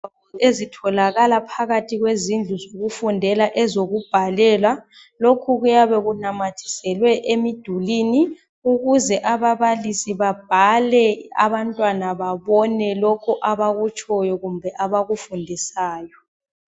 Ezitholakala phakathi kwezindlu zokufundela ezokubhalela . Lokho kuyabe kunamathiselwe emidulwini ukuze ababalisi babhale, abantwana babone lokho abakutshoyo kumbe abakufundisayo.